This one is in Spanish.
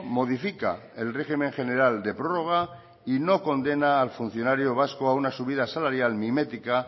modifica el régimen general de prórroga y no condena al funcionario vasco a una subida salarial mimética